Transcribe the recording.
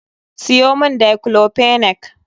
Siyo mun Daiclofenac.